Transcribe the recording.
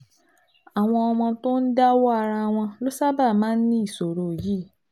àwọn ọmọ tó ń dáwọ́ ara wọn ló sábà máa ń ní ìṣòro yìí